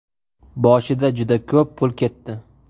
Boshida juda ko‘p pul ketdi.